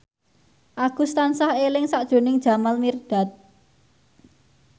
Agus tansah eling sakjroning Jamal Mirdad